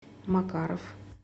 макаров